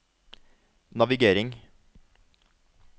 navigering